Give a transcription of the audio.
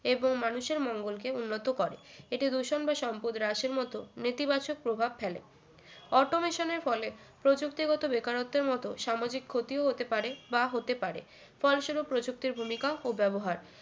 এবং মানুষের মঙ্গল কে উন্নত করে এটি দূষণ বা সম্পদের রাসের মতো নেতিবাচক প্রভাব ফেলে automation এর ফলে প্রযুক্তিগত বেকারত্বের মতো সামাজিক ক্ষতিও হতে পারে বা হতে পারে ফলস্বরূপ প্রযুক্তির ভূমিকা ও ব্যবহার